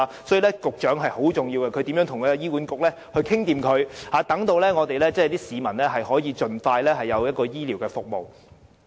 所以，局長職位很重要，由她負責與醫院管理局商討，市民便可以盡快得到需要的醫療服務。